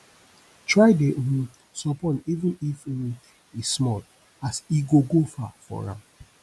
try dey um sopport even if um e small as e go go far for am